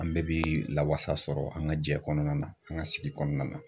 An bɛɛ bi lawasa sɔrɔ an ka jɛ kɔnɔna na , an ka sigi kɔnɔna na .